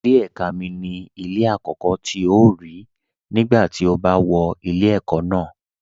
Ilé ẹ̀ka mi ni ilé àkọ́kọ́ tí o rí nígbà tí o bá wọ ilé ẹ̀kọ́ ná